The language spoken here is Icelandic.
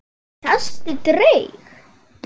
Sástu draug?